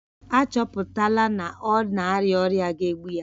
A chọpụtala na ọ na-arịa ọrịa ga-egbu ya